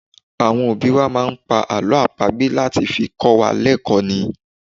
Àwọn òbí wá máà ń pá àlọ́ àpagbè láti fi kọ́ wa lẹkò ni.